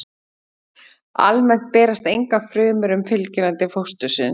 Almennt berast engar frumur um fylgjuna til fóstursins.